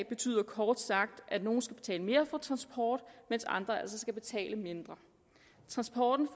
betyder kort sagt at nogle skal betale mere for transport mens andre altså skal betale mindre transporten